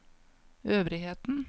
øvrigheten